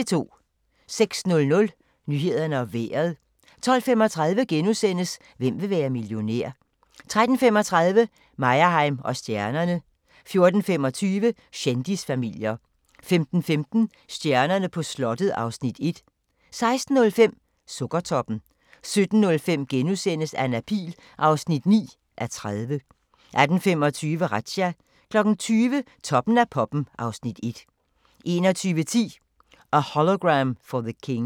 06:00: Nyhederne og Vejret 12:35: Hvem vil være millionær? * 13:35: Meyerheim & stjernerne 14:25: Kendisfamilier 15:15: Stjernerne på slottet (Afs. 1) 16:05: Sukkertoppen 17:05: Anna Pihl (9:30)* 18:25: Razzia 20:00: Toppen af poppen (Afs. 1) 21:10: A Hologram for the King